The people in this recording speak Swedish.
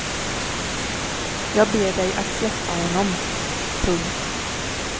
Jag ber dig att släppa honom. punkt